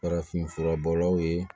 Farafinfura bɔlaw ye